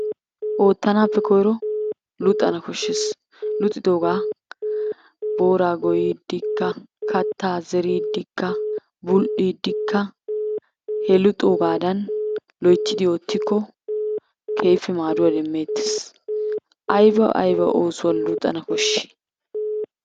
Ootanaappe koyro luxxana koshees, luxxidoogaa booraa goyiidikka kataa zeridikka bul'iidikka he luxxoogaadan loyttidi ootikko keehippe maaduwa demeetees, ayba aybba oosuwa luxxana koshii?